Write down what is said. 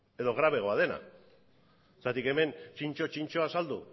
edo grabeago dena zergatik hemen zintzo zintzo azaldu